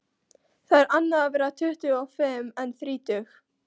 Það er annað að vera tuttugu og fimm en þrítug.